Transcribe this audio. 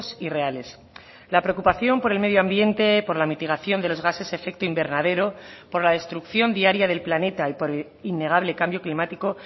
y reales la preocupación por el medio ambiente por la mitigación de los gases efecto invernadero por la destrucción diaria del planeta y por innegable cambio climático